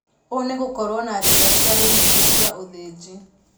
Ũũ nĩgũkorwo na njĩra citarĩ nyingĩ cia ũthĩnji